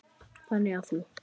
Þannig að þú.